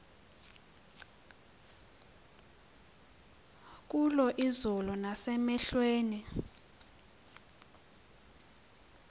kulo izulu nasemehlweni